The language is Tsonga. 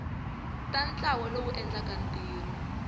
xa ntlawa lowu endlaka ntirho